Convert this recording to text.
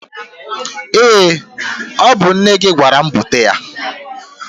Ee! Ọ bụ nne gị gwara m bute ya.